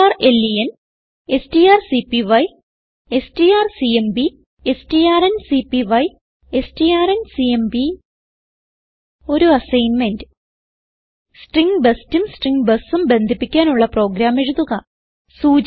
strlen strcpy strcmp strncpy strncmp ഒരു assignment string bestഉം string busഉം ബന്ധിപ്പിക്കാനുള്ള പ്രോഗ്രാം എഴുതുക